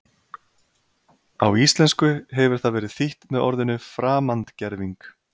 Á íslensku hefur það verið þýtt með orðinu framandgerving.